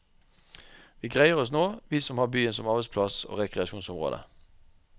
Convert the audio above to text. Vi greier oss nå, vi som har byen som arbeidsplass og rekreasjonsområde.